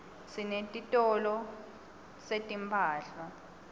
sinetitolo setimphahla